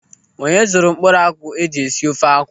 Onye zụrụ mkpụrụ akwụ eji esi ofe akwụ?